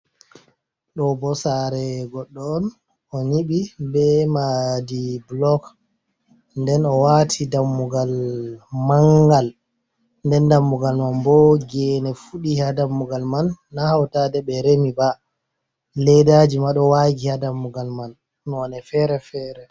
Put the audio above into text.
Ɗo bo saare goɗɗo on o nyiɓi be maadi bulok nden o waati dammugal mangal, nden dammugal man bo geene fuɗi ha dammugal man na hautaaɗe ɓe remi ba ledaji ma ɗo waagi ha dammugal man nonde feere-feere.